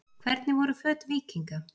Hvernig voru föt víkinga?